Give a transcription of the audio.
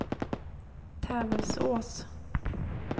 Tävelsås